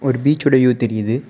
ஒரு பீச்சோட வியூ தெரியுது.